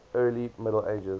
early middle ages